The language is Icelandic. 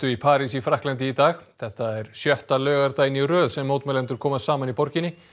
í París í Frakklandi í dag þetta er sjötta laugardaginn í röð sem mótmælendur koma saman í borginni